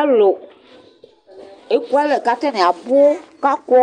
Alʊ éƙʊalɛ Ƙataŋɩ aɓʊ ƙaƙɔ